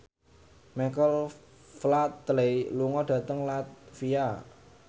Michael Flatley lunga dhateng latvia